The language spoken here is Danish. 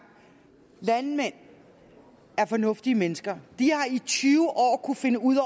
landmænd er fornuftige mennesker de har i tyve år kunnet finde ud